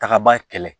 Tagaba kɛlɛ